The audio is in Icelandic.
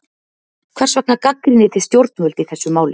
Hvers vegna gagnrýnið þið stjórnvöld í þessu máli?